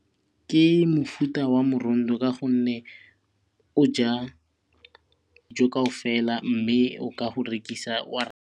Ke mofuta wa ka gonne o ja kaofela mme o ka go rekisa wa